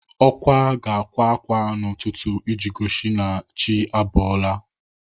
Ọkwa ga-akwa ákwá n'ụtụtụ iji gosi na chi abọọla.